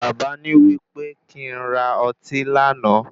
Baba ní wípé kí n ra ọtí lánàá.